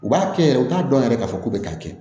U b'a kɛ yɛrɛ u t'a dɔn yɛrɛ k'a fɔ ko bɛ k'a kɛ